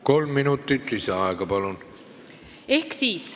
Kolm minutit lisaaega, palun!